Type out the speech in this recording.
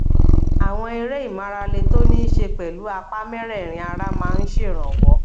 àwọn eré ìmárale tó ní í ṣe pẹlú apá mẹrẹẹrin ara máa ń ṣèrànwọ